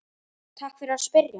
Takk fyrir að spyrja!